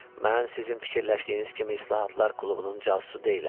Mən sizin fikirləşdiyiniz kimi İslahatlar klubunun casusu deyiləm.